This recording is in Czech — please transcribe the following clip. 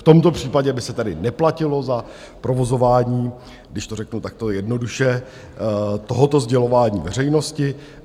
V tomto případě by se tady neplatilo za provozování, když to řeknu takto jednoduše, tohoto sdělování veřejnosti.